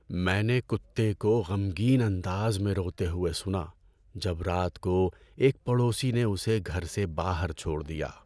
میں نے کتے کو غمگین انداز میں روتے ہوئے سنا جب رات کو ایک پڑوسی نے اسے گھر سے باہر چھوڑ دیا۔